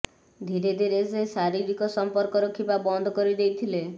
ଧିରେ ଧିରେ ସେ ଶାରୀରିକ ସଂପର୍କ ରଖିବା ବନ୍ଦ କରି ଦେଇଥିଲେ